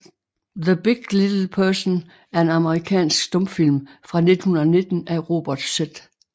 The Big Little Person er en amerikansk stumfilm fra 1919 af Robert Z